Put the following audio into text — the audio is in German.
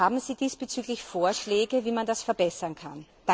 Haben Sie diesbezüglich Vorschläge, wie man das verbessern kann?